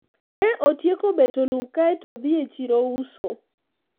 ne otieko beto lum kaeto odhi e chiro uso